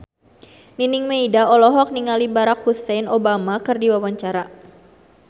Nining Meida olohok ningali Barack Hussein Obama keur diwawancara